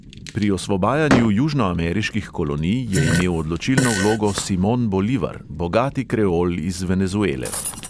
Pri osvobajanju južnoameriških kolonij je imel odločilno vlogo simon bolivar, bogati kreol iz venezuele.